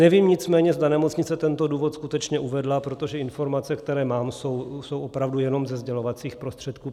Nevím nicméně, zda nemocnice tento důvod skutečně uvedla, protože informace, které mám, jsou opravdu jenom ze sdělovacích prostředků.